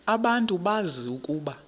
abantu bazi ukuba